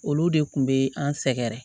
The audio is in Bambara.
Olu de kun be an sɛgɛrɛ